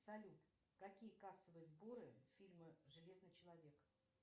салют какие кассовые сборы фильма железный человек